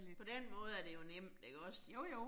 På den måde er det jo nemt ikke også